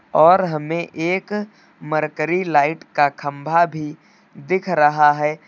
और हमें एक मरकरी लाइट का खंभा भी दिख रहा है।